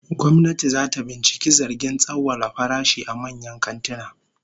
Gwamnati zata binciki zargin tsawwala farashi a manyan kantuna